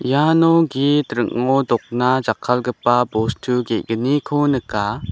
iano git ring·o dokna jakkalgipa bostu ge·gniko nika.